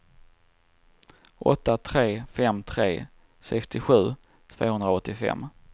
åtta tre fem tre sextiosju tvåhundraåttiofem